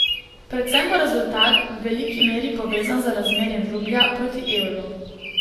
Predvsem bo rezultat v veliki meri povezan z razmerjem rublja proti evru.